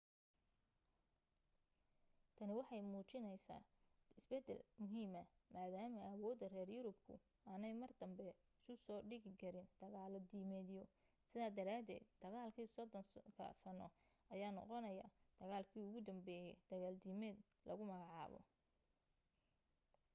tani waxay muujisay isbeddel muhiima maadaama awoodda reer yurubku aanay mar danbe isu soo dhigi karin dagaalo diimeedyo sidaa daraadeed dagaalkii soddonka sanno ayaa noqonaya dagaalkii ugu dambeeyay dagaal diimeed lagu magacaabo